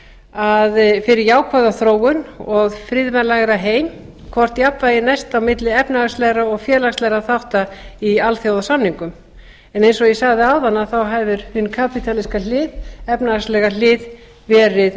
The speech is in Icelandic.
að fyrir jákvæða þróun og friðvænlegri heim hvort jafnvægi næst á milli efnahagslegra og félagslegra þátta í alþjóðasamningum en eins og ég sagði áðan hefur hin kapítalíska efnahagslega hlið verið